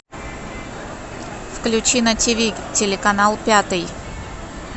включи на ти ви телеканал пятый